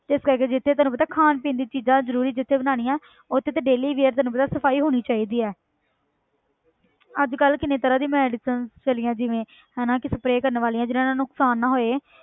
ਤੇ ਇਸ ਕਰਕੇ ਜਿੱਥੇ ਤੈਨੂੰ ਪਤਾ ਖਾਣ ਪੀਣ ਦੀ ਚੀਜ਼ਾਂ ਜ਼ਰੂਰੀ ਜਿੱਥੇ ਬਣਾਉਣੀਆਂ ਉੱਥੇ ਤਾਂ ਡੇਲੀ ਵੀ ਹੈ ਤੈਨੂੰ ਪਤਾ ਸਫ਼ਾਈ ਹੋਣੀ ਚਾਹੀਦੀ ਹੈ ਅੱਜ ਕੱਲ੍ਹ ਕਿੰਨੇ ਤਰ੍ਹਾਂ ਦੀ medicines ਚੱਲੀਆਂ ਜਿਵੇਂ ਹਨਾ ਕਿ spray ਕਰਨ ਵਾਲੀਆਂ ਜਿੰਨਾਂ ਨਾਲ ਨੁਕਸਾਨ ਨਾ ਹੋਏ।